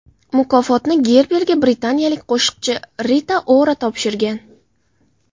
Mukofotni Gerberga britaniyalik qo‘shiqchi Rita Ora topshirgan.